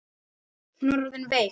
Hún var orðin veik.